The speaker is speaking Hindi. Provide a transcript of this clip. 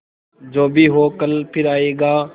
जो भी हो कल फिर आएगा